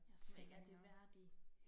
Ja som ikke er de værdige